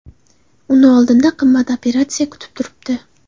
Uni oldinda qimmat operatsiya kutib turibdi.